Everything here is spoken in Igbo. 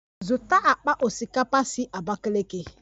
Zụta akpa osikapa si Abakiliki!